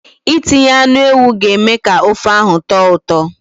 Itinye anụ ewu ga-eme ka ofe ahụ tọọ ụtọ.